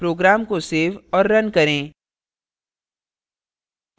program को save और run करें